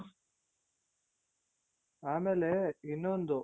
ಆಮೇಲೆ ಇನ್ನೊಂದು